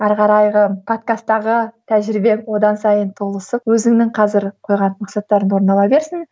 әрі қарайғы подкастаға тәжірибең одан сайын толысып өзіңнің қазір қойған мақсаттарың орындала берсін